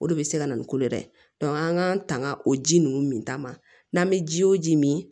O de bɛ se ka na ni kolo yɛrɛ ye an k'an tanga o ji ninnu min ta ma n'an bɛ ji o ji min